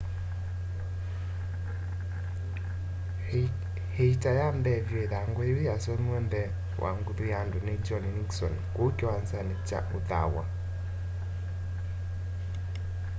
ĩita ya mbee vyũ ĩthangũ yĩu yasomiwe mbee wa nguthu ya andũ nĩ john nixon kũu kĩwanzanĩ kya ũthaw'a